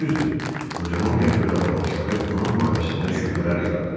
Düzdür, qocanın qəribə davranışları onun barəsində şübhələr yaradır.